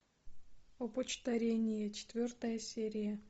опочтарение четвертая серия